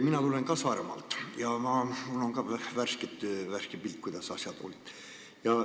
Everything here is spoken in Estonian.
Mina tulen ka Saaremaalt ja mul on ka värske pilt, kuidas seal asjad on.